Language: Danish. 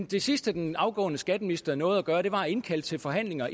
det sidste den afgående skatteminister nåede at gøre var at indkalde til forhandlinger